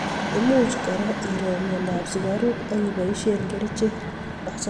Imuch kora iro mnyendo ab sukaruk ak kiboishe kerichek.